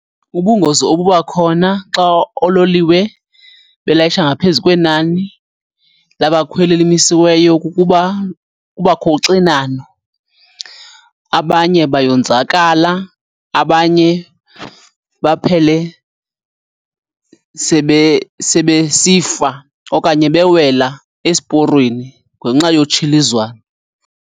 Ubungozi obuba khona xa oololiwe belayisha ngaphezu kwenani labakhweli elimisiweyo kukuba kubakho uxinano, abanye bayonzakala, abanye baphele sebesifa okanye bewela esiporweni ngenxa yotshilizwano.